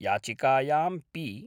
याचिकायां पी .